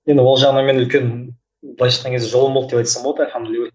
енді ол жағынан мен үлкен былайша айтқан кезде жолым болды деп айтсам болады альхамдулилла